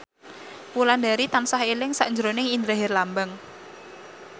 Wulandari tansah eling sakjroning Indra Herlambang